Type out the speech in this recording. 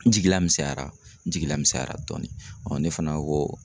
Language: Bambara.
N jigila misɛnyara, n jigila misɛnyara dɔɔni .Ne fana ko